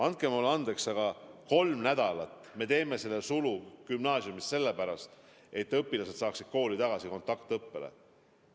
Andke mulle andeks, aga kolmeks nädalaks me teeme selle sulu gümnaasiumis sellepärast, et õpilased saaksid kooli tagasi kontaktõppele.